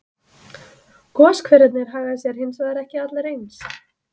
Goshverirnir haga sér hins vegar ekki allir eins.